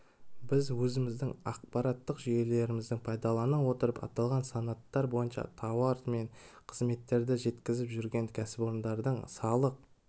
біз өзіміздің ақпараттық жүйелерімізді пайдалана отырып аталған санаттар бойынша тауар мен қызметтерді жеткізіп жүрген кәсіпорындардың салық